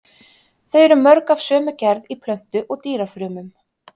Þau eru mörg af sömu gerð í plöntu- og dýrafrumum.